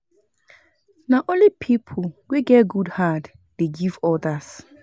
Na only pipo wey get good heart dey give odas.